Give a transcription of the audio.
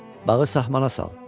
Bağı saxmaxana sal.